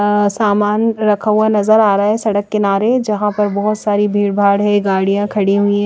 अ सामान रखा हुआ नजर आ रहा है सड़क किनारे जहां पर बहोत सारी भीड़ भाड़ है गाड़ियां खड़ी हुई--